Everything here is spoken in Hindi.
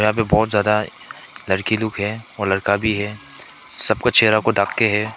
यहां पे बहुत ज्यादा लड़की लोग है और लड़का भी है सबका चेहरा को ढक के है।